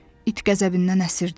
İt qəzəbindən əsirdi.